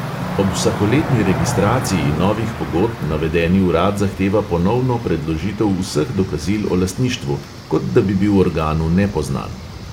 Ob vsakoletni registraciji novih pogodb navedeni urad zahteva ponovno predložitev vseh dokazil o lastništvu, kot da bi bil organu nepoznan.